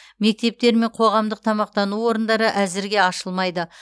мектептер мен қоғамдық тамақтану орындары әзірге ашылмайды